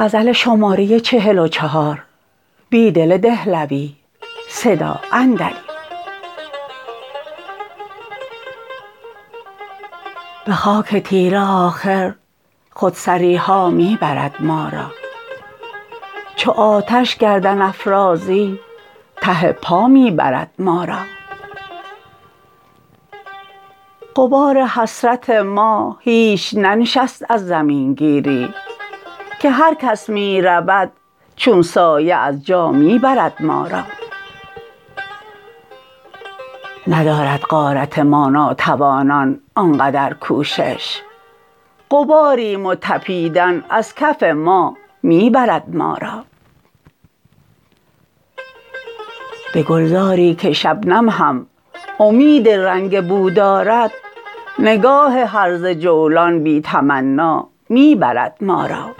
به خاک تیره آخر خودسری ها می برد ما را چو آتش گردن افرازی ته پا می برد ما را غبار حسرت ما هیچ ننشست از زمینگیری که هر کس می رود چون سایه از جا می برد ما را ندارد غارت ما ناتوانان آن قدر کوشش غباریم و تپیدن از کف ما می برد ما را به گلزاری که شبنم هم امید رنگ و بو دارد نگاه هرزه جولان بی تمنا می برد ما را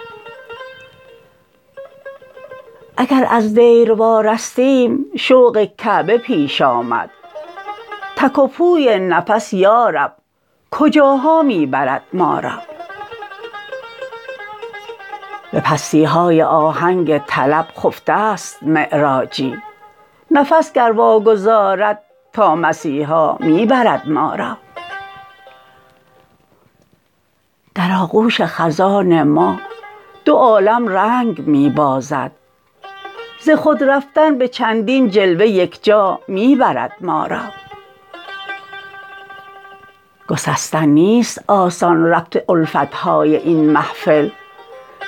اگر از دیر وارستیم شوق کعبه پیش آمد تک وپوی نفس یارب کجاها می برد ما را به پستی های آهنگ طلب خفته ست معراجی نفس گر واگذارد تا مسیحا می برد ما را در آغوش خزان ما دو عالم رنگ می بازد ز خود رفتن به چندین جلوه یک جا می برد مارا گسستن نیست آسان ربط الفت های این محفل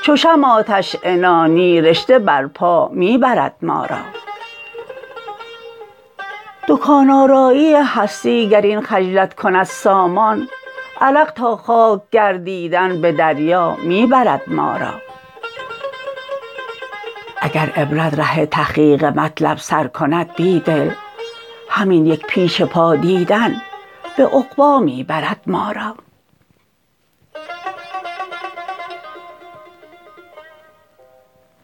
چو شمع آتش عنانی رشته برپا می برد ما را دکان آرایی هستی گر این خجلت کند سامان عرق تا خاک گردیدن به دریا می برد ما را اگر عبرت ره تحقیق مطلب سرکند بیدل همین یک پیش پا دیدن به عقبا می برد ما را